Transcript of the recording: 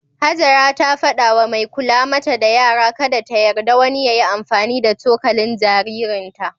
Hajara ta fada wa mai kula mata da yara kada ta yarda wani ya yi amfani da cokalin jaririnta.